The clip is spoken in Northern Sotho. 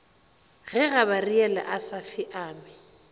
ge gabariele a sa feame